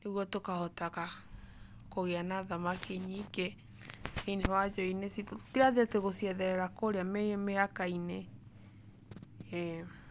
nĩguo tũkahotaga, kũgĩa na thamaki nyingĩ, thĩiniĩ wa njũĩ-inĩ citũ. Tũtirathiĩ atĩ gũcietherera kũrĩa mĩhaka-inĩ. Ĩĩ